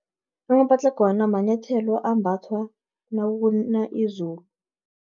Amapatlagwana, manyathelo ambathwa nakuna izulu.